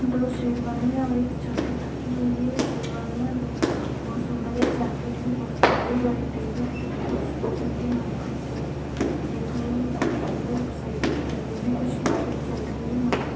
दो शेरवानियां और एक जैकिट रखी हुई है। शेरवानी या दो बहुत सुंदर है जैकेट भी बहुत सुंदर है और एक टेबल कुर्सी रखी हुई है वहाँं पर जो देखने में बहुत सुंदर शेरवानी लग रही है। कुछ लाइट जल रही है वहाँं पर।